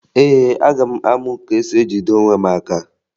Ee, aga m amụ ka esi ejide onwe m aka